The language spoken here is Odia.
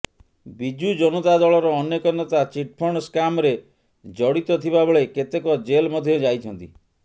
ବିଜୁ ଜନତା ଦଳର ଅନେକ ନେତା ଚିଟଫଣ୍ଡ ସ୍କାମରେ ଜଡିତ ଥିବା ବେଳେ କେତେକ ଜେଲ ମଧ୍ୟ ଯାଇଛନ୍ତି